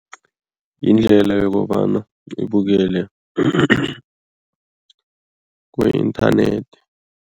Yindlela yokobana ngibukele ku-inthanethi.